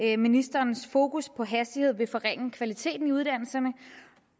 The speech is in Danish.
at ministerens fokus på hastighed vil forringe kvaliteten i uddannelserne